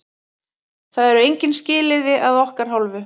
Það eru engin skilyrði að okkar hálfu.